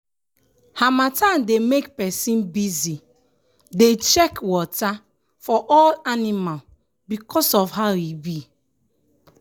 harmattan dey make person busy dey check water for all animal because of how e be.